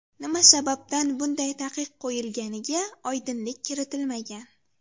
Nima sababdan bunday taqiq qo‘yilganiga oydinlik kiritilmagan.